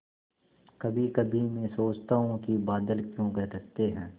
कभीकभी मैं सोचता हूँ कि बादल क्यों गरजते हैं